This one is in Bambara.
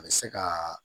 A bɛ se ka